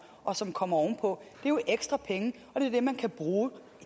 og som kommer ovenpå jo er ekstra penge og det er det man kan bruge